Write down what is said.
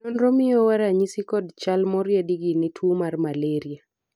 nonro miyowa ranyisi kod chal moriedi gi ne tuo mar malraia